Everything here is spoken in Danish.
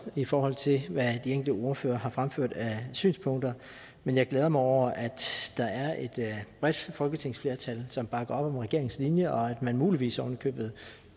i forhold til hvad de enkelte ordførere har fremført af synspunkter men jeg glæder mig over at der er et bredt folketingsflertal som bakker op om regeringens linje og at man muligvis oven i købet